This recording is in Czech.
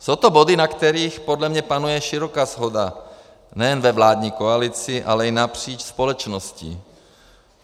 Jsou to body, na kterých podle mě panuje široká shoda nejen ve vládní koalici, ale i napříč společností.